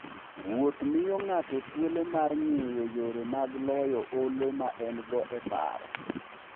Wuoth miyo ng'ato thuolo mar ng'eyo yore mag loyo olo ma en-go e paro.